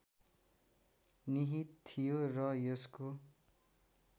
निहित थियो र यसको